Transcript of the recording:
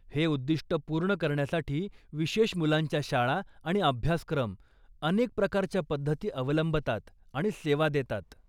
हे उद्दिष्ट पूर्ण करण्यासाठी विशेष मुलांच्या शाळा आणि अभ्यासक्रम अनेक प्रकारच्या पद्धती अवलंबतात आणि सेवा देतात.